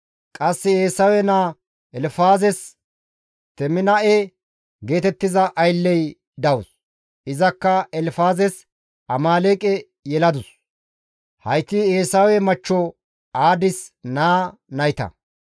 Qasse Eesawe naa Elfaazes Teminaa7e geetettiza aylley dawus; izakka Elfaazes Amaaleeqe yeladus; hayti Eesawe machcho Aadis naa nayta.